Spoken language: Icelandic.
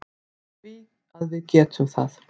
Af því að við getum það.